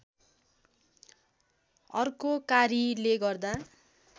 अर्को कारीले गर्दा